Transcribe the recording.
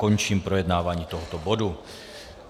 Končím projednávání tohoto bodu.